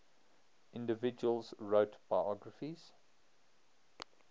individuals wrote biographies